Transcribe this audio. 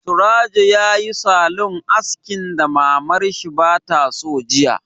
Surajo yayi salon askin da Mamar shi ba ta so jiya